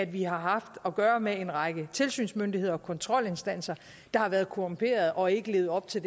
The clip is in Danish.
vi har haft at gøre med en række tilsynsmyndigheder og kontrolinstanser der har været korrumperede og ikke levet op til